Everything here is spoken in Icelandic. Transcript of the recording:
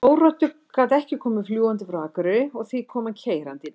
Þóroddur gat ekki komið fljúgandi frá Akureyri og því kom hann keyrandi í dag.